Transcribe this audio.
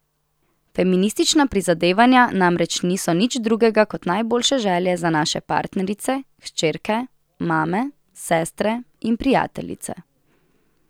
Feministična prizadevanja namreč niso nič drugega kot najboljše želje za naše partnerice, hčerke, mame, sestre in prijateljice.